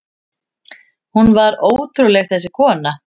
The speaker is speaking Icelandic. Hún var ótrúleg, þessi kona.